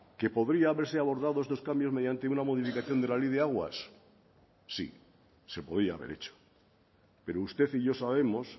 que podría haberse abordado estos cambios mediante una modificación de la ley de aguas sí se podía haber hecho pero usted y yo sabemos